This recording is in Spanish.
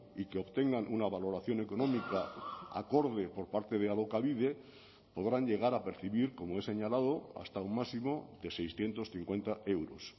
y que obtengan una valoración económica acorde por parte de alokabide podrán llegar a percibir como he señalado hasta un máximo de seiscientos cincuenta euros